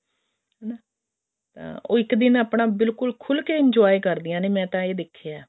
ਹਨਾ ਤਾਂ ਉਹ ਇੱਕ ਦਿਨ ਆਪਣਾ ਬਿਲਕੁਲ ਖੁੱਲ ਕੇ enjoy ਕਰਦੀਆਂ ਨੇ ਮੈਂ ਤਾਂ ਇਹ ਦੇਖਿਆ